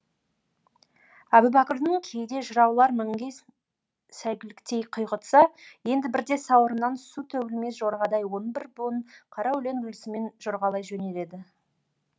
әбубәкірдің кейде жыраулар мінген сәйгүліктей құйғытса енді бірде сауырынан су төгілмес жорғадай он бір буын қара өлең үлгісімен жорғалай жөнеледі